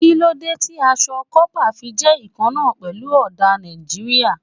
Kí ló dé tí aṣọ kọ́pà fi jẹ́ ìkanna pẹ̀lú ọdà Nàìjíríà?